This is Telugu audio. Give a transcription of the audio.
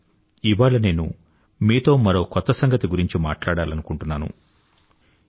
కానీ ఇవాళ నేను మీతో మరో కొత్త సంగతి గురించి మాట్లాడాలనుకుంటున్నాను